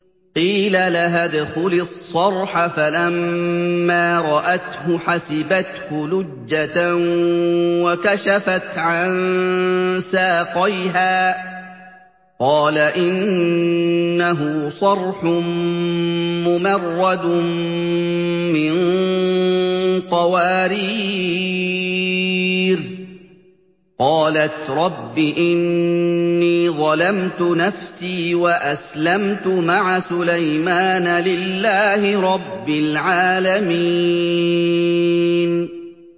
قِيلَ لَهَا ادْخُلِي الصَّرْحَ ۖ فَلَمَّا رَأَتْهُ حَسِبَتْهُ لُجَّةً وَكَشَفَتْ عَن سَاقَيْهَا ۚ قَالَ إِنَّهُ صَرْحٌ مُّمَرَّدٌ مِّن قَوَارِيرَ ۗ قَالَتْ رَبِّ إِنِّي ظَلَمْتُ نَفْسِي وَأَسْلَمْتُ مَعَ سُلَيْمَانَ لِلَّهِ رَبِّ الْعَالَمِينَ